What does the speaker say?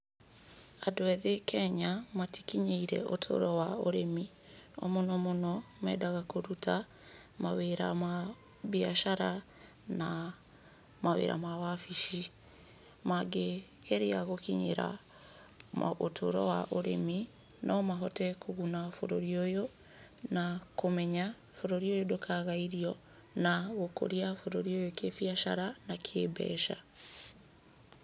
Andũ ethĩ Kenya matikinyĩire ũtũro wa ũrĩmi. O mũno mũno mendaga kũruta wĩra wa biacara na mawĩra ma wabici. Mangĩgeria gũkinyĩra ũtũro wa ũrĩmi no mahote kũguna bũrũri ũyũ, na kũmenya bũrũri ũyũ ndũkaga irio na gũkũria bũrũri ũyũ kĩbiacara na kĩmbeca.